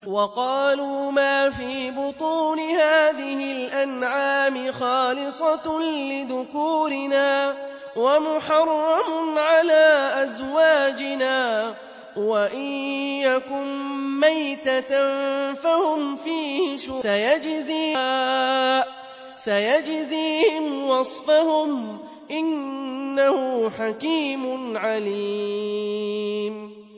وَقَالُوا مَا فِي بُطُونِ هَٰذِهِ الْأَنْعَامِ خَالِصَةٌ لِّذُكُورِنَا وَمُحَرَّمٌ عَلَىٰ أَزْوَاجِنَا ۖ وَإِن يَكُن مَّيْتَةً فَهُمْ فِيهِ شُرَكَاءُ ۚ سَيَجْزِيهِمْ وَصْفَهُمْ ۚ إِنَّهُ حَكِيمٌ عَلِيمٌ